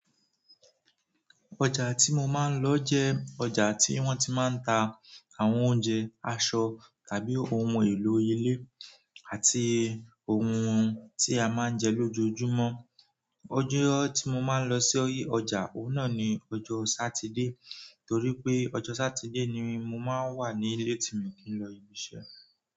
Ọjà tí mo máa ń lọ jẹ́ ọjà tí wọ́n ti máa ń ta àwọn oúnjẹ, aṣọ tàbí ohun èlò ilé àti ohun tí a máa ń jẹ lójoojúmọ́. Ọjọ́ tí mo máa ń lọ sí ọjà ọ̀un nà ni ọjọ́ Satide torí pé ọjọ́ Satide ni mo máa ń wà ní ìle tí mi kì í lọ ibiṣẹ́.